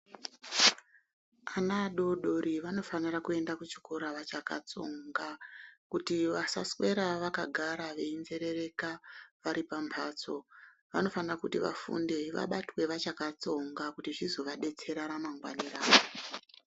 Ana adodori vanofanira kuenda kuchikora vachakatsonga, kuti vasaswera vakagara veyinjerereka varipambatso. Vanofanira kuti vafunde vabatwe vachakatsonga kuti zvizvovadetsera ramangwanae ravo.